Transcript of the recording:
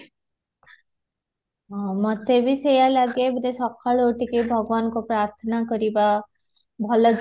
ହୁଁ ମୋତେ ବି ସେଇୟା ଲାଗେ ସକାଳୁ ଉଠିକି ଭଗବାନଙ୍କୁ ପ୍ରାଥନା କରିବା ଭଲ